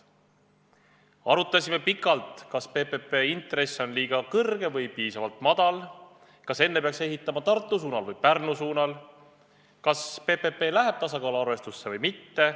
Arutasime pikalt, kas PPP intress on liiga kõrge või piisavalt madal, kas enne peaks ehitama Tartu suunal või Pärnu suunal, kas PPP läheb tasakaaluarvestusse või mitte.